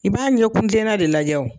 I b'a ɲɛkun kilena de lajɛ o.